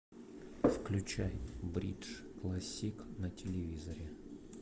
включай бридж классик на телевизоре